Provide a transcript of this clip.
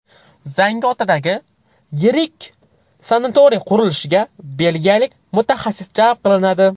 Zangiotadagi yirik sanatoriy qurilishiga belgiyalik mutaxassis jalb qilinadi.